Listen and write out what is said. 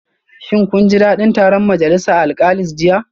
Shin kun ji dadin taron majalisa alkalis jiya?